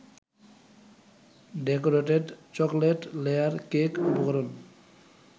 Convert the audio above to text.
decorated chocolate layer cake উপরকরণ